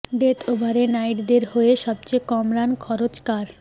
death ওভারে নাইটদের হয়ে সবচেয় কম রান খরচ কার